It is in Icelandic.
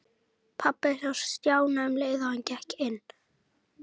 Pabbi sá Stjána um leið og hann gekk inn.